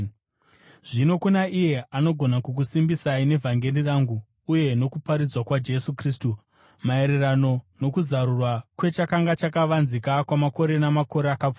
Zvino kuna iye anogona kukusimbisai nevhangeri rangu, uye nokuparidzwa kwaJesu Kristu, maererano nokuzarurwa kwechakanga chakavanzika kwamakore namakore akapfuura,